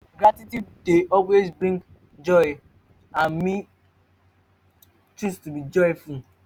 gratitude dey always bring joy and me choose to dey joyful